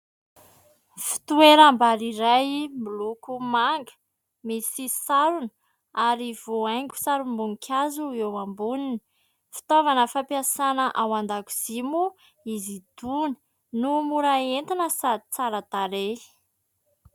Fitoeram-bary iray miloko manga misy sarony ary voahaingo sarim-boninkazo eo amboniny. Fitaovana fampiasana ao an-dakozia moa izy itony no mora entina sady tsara tarehy.